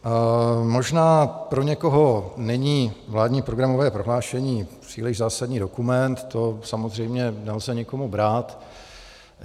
Možná pro někoho není vládní programové prohlášení příliš zásadní dokument, to samozřejmě nelze nikomu brát.